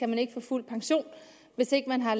man ikke få fuld pension hvis ikke man har